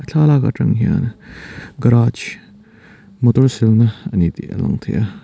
thlalak atang hian garage motor silna a ni tih a lang thei a.